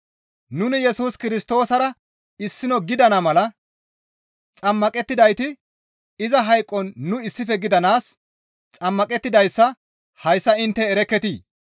Nuni Yesus Kirstoosara issino gidana mala xammaqettidayti iza hayqon nu issife gidanaas xammaqettidayssa hayssa intte erekketii?